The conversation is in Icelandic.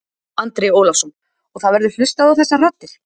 Andri Ólafsson: Og það verður hlustað á þessar raddir?